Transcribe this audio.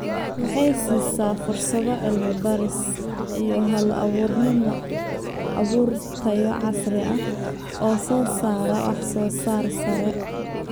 Waxay siisaa fursado cilmi-baaris iyo hal-abuurnimo abuur tayo casri ah oo soo saara wax-soo-saar sare.